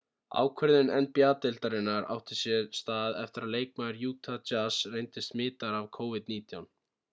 ákvörðun nba-deildarinnar átti sér stða eftir að leikmaður utah jazz reyndist smitaður af covid-19